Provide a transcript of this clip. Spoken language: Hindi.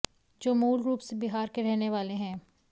जो मूल रूप से बिहार के रहने वाले हैं